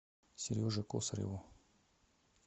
сереже косареву